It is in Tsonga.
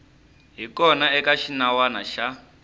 hi kona eka xinawana xa